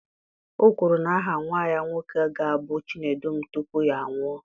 O kwuru na aha nwa ya nwoke ga-abụ Chinedum tupu ya anwụọ